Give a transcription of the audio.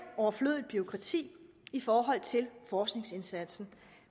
overflødigt bureaukrati i forhold til forskningsindsatsen